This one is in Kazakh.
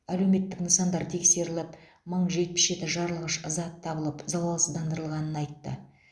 әлеуметтік нысандар тексеріліп мың жетпіс жеті жарылғыш зат табылып залалсыздандырылғанын айтты